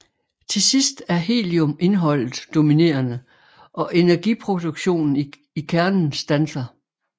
Til sidst er heliumindholdet dominerende og energiproduktionen i kernen standser